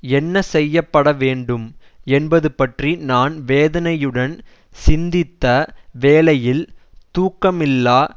என்ன செய்ய படவேண்டும் என்பதுபற்றி நான் வேதனையுடன் சிந்தித்த வேளையில் தூக்கமில்லா